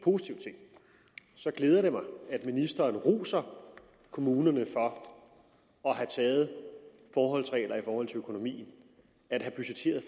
glæder mig at ministeren roser kommunerne for at have taget forholdsregler i forhold til økonomien at have budgetteret